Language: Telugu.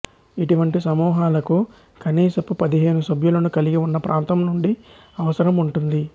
ఇటువంటి సమూహాలకు కనీసపు పదిహేను సభ్యులను కలిగి ఉన్న ప్రాంతం నుండి అవసరం ఉంటుంది